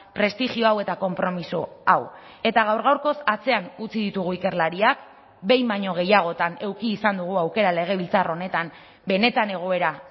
prestigioa hau eta konpromiso hau eta gaur gaurkoz atzean utzi ditugu ikerlariak behin baino gehiagotan eduki izan dugu aukera legebiltzar honetan benetan egoera